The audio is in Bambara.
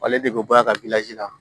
Ale de bɛ bɔ a ka la